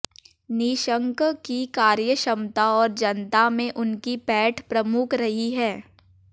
निशंक की कार्य क्षमता और जनता में उनकी पैठ प्रमुख रही है